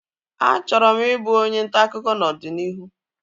A chọrọ m ị bụ onye ntaakụkọ n'ọdịnihu